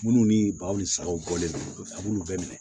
Minnu ni baw ni sagaw bɔlen don a b'olu bɛɛ minɛ